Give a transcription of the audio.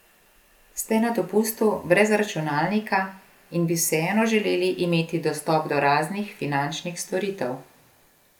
Ste na dopustu brez računalnika in bi vseeno želeli imeti dostop do raznih finančnih storitev?